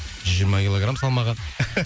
жүз жиырма килограмм салмағы